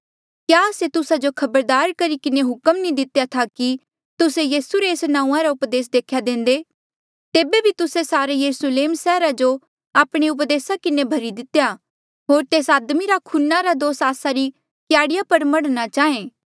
क्या आस्से तुस्सा जो खबरदार करी किन्हें हुक्म नी दितेया था कि तुस्से यीसू रे एस नांऊँआं रा उपदेस देख्या देंदे तेबे बी तुस्से सारे यरुस्लेम सैहरा जो आपणे उपदेसा किन्हें भरी दितेया होर तेस आदमी रा खूना रा दोष आस्सा री क्याड़ी पर मढ़ना चाहें